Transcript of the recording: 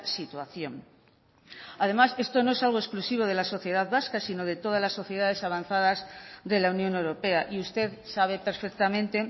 situación además esto no es algo exclusivo de la sociedad vasca sino de todas las sociedades avanzadas de la unión europea y usted sabe perfectamente